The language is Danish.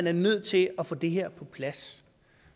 er nødt til at få det her på plads